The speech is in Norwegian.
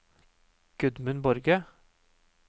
Gudmund Borge